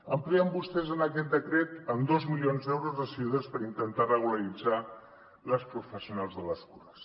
amplien vostès en aquest decret amb dos milions d’euros les ajudes per intentar regularitzar les professionals de les cures